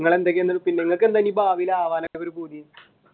നിങ്ങൾക്കെന്താണ് ഭാവിയിൽ ആവനൊക്കെയുളള ഒരു പൂതി?